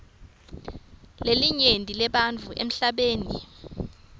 lelinyenti lebantfu emhlabeni